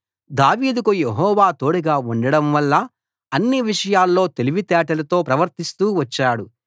దావీదుకు యెహోవా తోడుగా ఉండడంవల్ల అన్ని విషయాల్లో తెలివితేటలతో ప్రవర్తిస్తూ వచ్చాడు